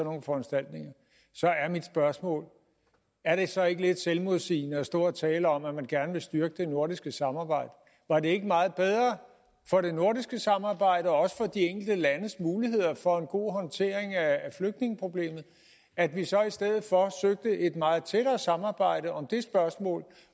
nogle foranstaltninger så er mit spørgsmål er det så ikke lidt selvmodsigende at stå og tale om at man gerne vil styrke det nordiske samarbejde var det ikke meget bedre for det nordiske samarbejde og også for de enkelte landes muligheder for en god håndtering af flygtningeproblemet at vi så i stedet for søgte et meget tættere samarbejde om det spørgsmål